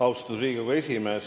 Austatud Riigikogu esimees!